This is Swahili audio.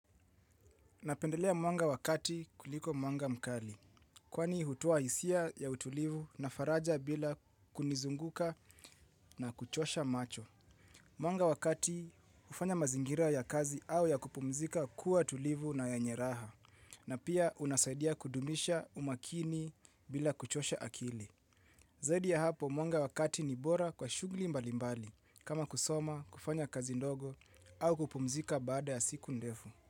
Napendelea mwanga wakati kuliko mwanga mkali, kwani hutoa hisia ya utulivu na faraja bila kunizunguka na kuchosha macho. Mwanga wakati hufanya mazingira ya kazi au ya kupumzika kuwa tulivu na yenye raha, na pia unasaidia kudumisha umakini bila kuchosha akili. Zaidi ya hapo mwanga wa kati ni bora kwa shughuli mbalimbali, kama kusoma, kufanya kazi ndogo, au kupumzika baada ya siku ndefu.